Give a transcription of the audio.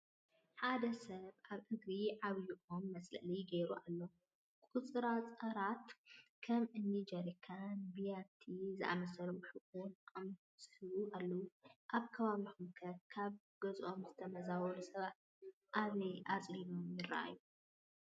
ሓደ ሰብ ኣብ እግሪ ዓብዪ ኦም መፅለሊኡ ገይሩ ኣሎ፡፡ ቁፅርፃራትን ከም እኒ ጀሪካን፣ ቢያቲ ዝኣምሰ ኣቑሑ እውን ምስኡ ኣለዉ፡፡ ኣብ ከባቢኹም ከ ካብ ገዝኦም ዝተመዛመሉ ሰባት ኣበይ ኣፅሊሎም ይርአዩ?